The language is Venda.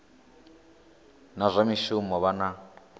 na zwa mishumo vha na